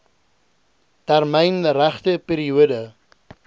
termyn regte periode